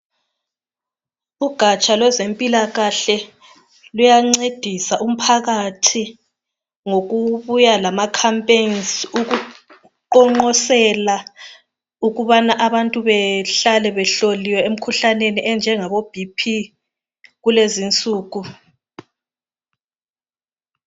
Ugatsha lwezempilakahle luyancedisa umphakathi ngokubuya lama campaigns okuqonqosela ukubana abantu behlale behloliwe emkhuhlaneni efana labo BP kulezinsuku.